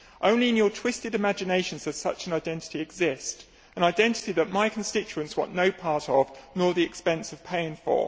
Only in your twisted imaginations does such an identity exist, an identity that my constituents want no part of, nor the expense of paying for.